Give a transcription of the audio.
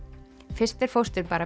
fyrst er fóstur bara